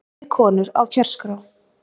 Fleiri konur á kjörskrá